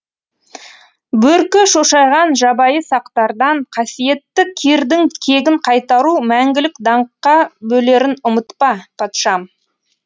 бөркі шошайған жабайы сақтардан қасиетті кирдің кегін қайтару мәңгілік даңққа бөлерін ұмытпа патшам